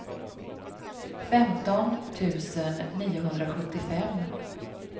femton tusen niohundrasjuttiofem